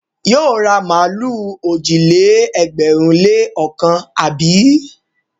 Yóò ra màlúù òjì-lé-ẹgbẹ̀rún-lé-ọ̀kan, àbí?